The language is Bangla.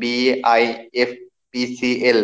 BIFPCL